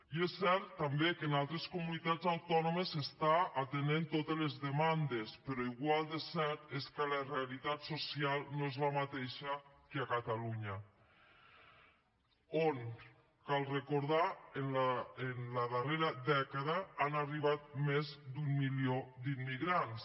i és cert també que en altres comunitats autònomes s’atenen totes les demandes però igual de cert és que la realitat social no és la mateixa que a catalunya on cal recordar ho en la darrera dècada han arribat més d’un milió d’immigrants